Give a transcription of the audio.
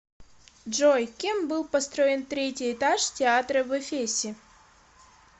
джой кем был построен третий этаж театра в эфесе